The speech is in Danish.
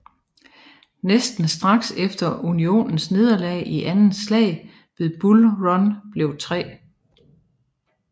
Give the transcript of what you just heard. Næsten straks efter Unionens nederlag i Andet slag ved Bull Run blev 3